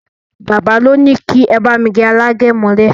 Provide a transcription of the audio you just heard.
Bàbá li ní kí ẹ bá mi gẹ alágẹ̀mọ́lẹ̀